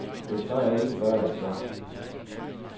Et bad er ikke bare et bad.